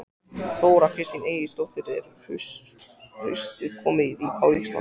Þóra Kristín Ásgeirsdóttir: Er haustið komið á Íslandi?